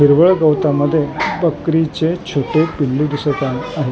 हिरवळ गवतामध्ये बकरीचे छोटे पिल्लू दिसत आहे.